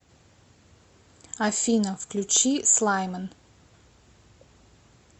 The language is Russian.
афина включи слайман